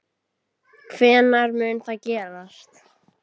Hvenær mun það gerast?